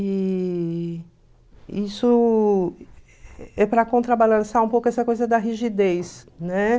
E isso é para contrabalançar um pouco essa coisa da rigidez, né?